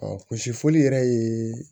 gosifɔli yɛrɛ ye